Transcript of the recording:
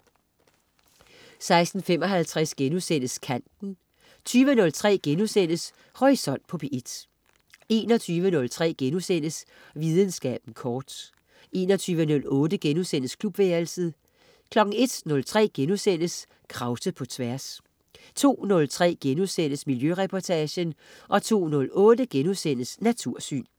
16.55 Kanten* 20.03 Horisont på P1* 21.03 Videnskaben kort* 21.08 Klubværelset* 01.03 Krause på Tværs* 02.03 Miljøreportagen* 02.08 Natursyn*